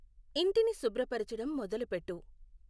ఇంటిని శుభ్రపరచడం మొదలుపెట్టు